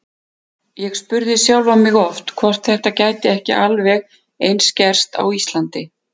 Ég spurði sjálfan mig oft hvort þetta gæti ekki alveg eins gerst á Íslandi.